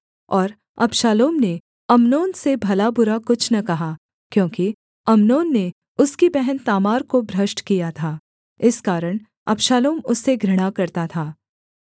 और अबशालोम ने अम्नोन से भलाबुरा कुछ न कहा क्योंकि अम्नोन ने उसकी बहन तामार को भ्रष्ट किया था इस कारण अबशालोम उससे घृणा करता था